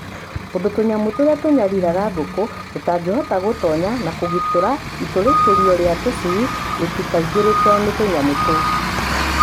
Undũ tũnyamũ tũrĩa tũnyariraga ngũkũ tũtangihota gũtonya na kũgitĩra itũrĩkithĩrio rĩa tũcui rĩtikaingĩrĩke nĩ tũnyamũ tũu.